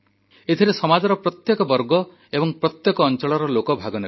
ଏଥିରେ ସମାଜର ପ୍ରତ୍ୟେକ ବର୍ଗ ଏବଂ ପ୍ରତ୍ୟେକ ଅଞ୍ଚଳର ଲୋକ ଭାଗନେବେ